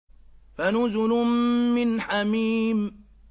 فَنُزُلٌ مِّنْ حَمِيمٍ